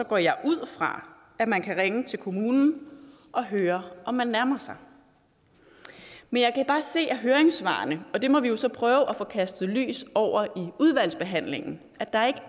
går jeg ud fra at man kan ringe til kommunen og høre om man nærmer sig men jeg kan bare se af høringssvarene og det må vi jo så prøve at få kastet lys over i udvalgsbehandlingen